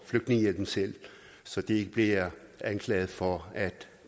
flygtningehjælp selv så de ikke bliver anklaget for at